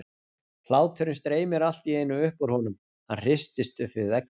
Hláturinn streymir allt í einu upp úr honum, hann hristist upp við vegginn.